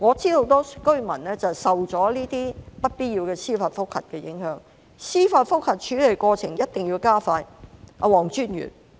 因為我知道很多居民受到這些不必要的司法覆核的影響，所以司法覆核處理過程一定要加快。